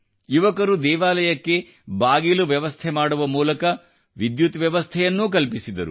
ಯುವಕರು ದೇವಾಲಯಕ್ಕೆ ಬಾಗಿಲು ವ್ಯವಸ್ಥೆ ಮಾಡುವ ಮೂಲಕ ವಿದ್ಯುತ್ ವ್ಯವಸ್ಥೆಯನ್ನೂ ಕಲ್ಪಿಸಿದರು